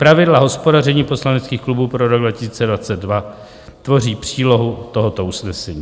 Pravidla hospodaření poslaneckých klubů pro rok 2022 tvoří přílohu tohoto usnesení."